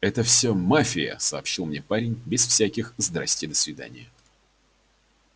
это всё мафия сообщил мне парень без всяких здравствуйте-до свидания